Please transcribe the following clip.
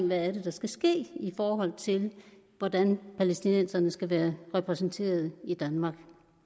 hvad der skal ske i forhold til hvordan palæstinenserne skal være repræsenteret i danmark